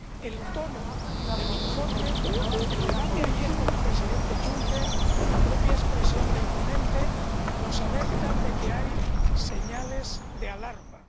El tono del informe, el debate de ayer con el presidente Juncker, la propia expresión del ponente nos alertan de que hay señales de alarma.